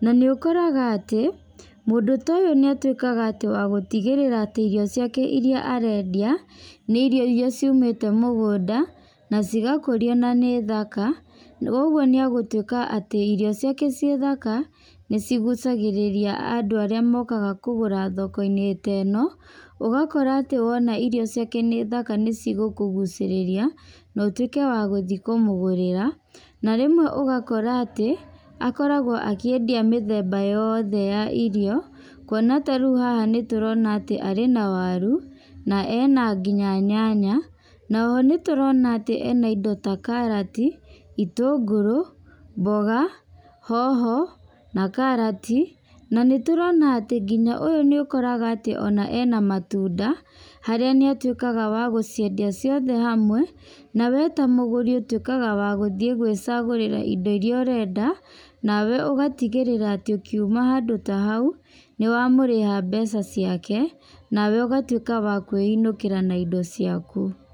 Na nĩ ũkoraga atĩ, mũndũ ta ũyũ nĩ atuĩkaga atĩ wa gũtigĩrĩra atĩ irio ciake irĩa arendia, nĩ irio irĩa ciumĩte mũgũnda, na cigakũrio na nĩ thaka. Ũguo nĩ egũtuĩka atĩ irio ciake ciĩ thaka nĩ cigucagĩrĩria andũ arĩa mokaga kũgũra thoko-inĩ ta ĩno. Ũgakora atĩ wona irio ciake nĩ thaka nĩ cigũkũgucĩrĩria na ũtuĩke wa gũthiĩ kũmũgũrĩra. Na rĩmwe ũgakora atĩ, akoragwo akĩendia mĩthemba yothe ya irio. Kuona atĩ ta rĩu haha nĩ tũrona atĩ arĩ na waru, na ena nginya nyanya, na oho nĩ tũrona atĩ ena indo ta karati, itũngũrũ, mboga, hoho, na karati. Na nĩtũrona atĩ nginya ũyũ nĩ ũkoraga atĩ ena matunda harĩa nĩ atuĩkaga wa gũciendia ciothe hamwe. Nawe ta mũgũri ũtuĩkaga wa gũthiĩ gwĩcagũrĩra indo irĩa ũrenda. Nawe ũgatigĩrĩra atĩ ũkiuma handũ ta hau, nĩ wamũrĩha mbeca ciake nawe ũgatuĩka wa kwĩinũkĩra na indo ciaku.